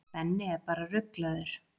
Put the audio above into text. Benni er bara ruglaður.